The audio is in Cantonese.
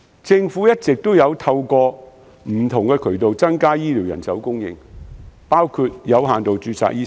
政府一直透過不同渠道增加醫療人手供應，包括開放醫生的有限度註冊。